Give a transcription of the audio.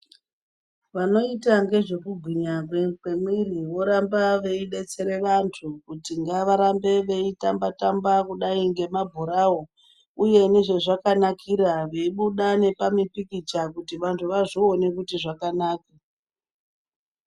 Vanoita ngezvekugwinya kwemwiri, voramba veidetsera vantu kuti ngavarambe veitamba-tamba kudai ngemabhorawo uye nezvezvakanakira, veibuda nepamupikicha kuti vantu vazvione kuti zvakanaka.